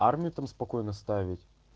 армию там спокойно ставить